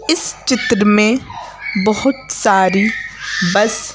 इस चित्र में बहुत सारी बस --